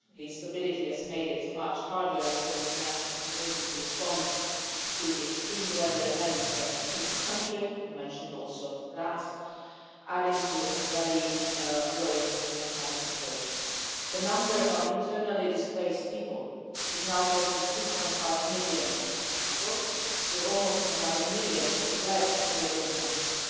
The instability has made it much harder for the international community to respond to the extreme weather events that have hit the country you also mentioned that adding to a very worrying humanitarian situation. The number of internally displaced people is now close to 2.5 million, with almost another million who have fled to neighbouring countries.